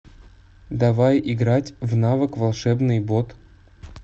давай играть в навык волшебный бот